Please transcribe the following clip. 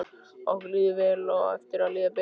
Okkur líður vel og á eftir að líða betur.